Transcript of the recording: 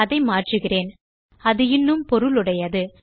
அதை மாற்றுகிறேன் அது இன்னும் பொருளுடையது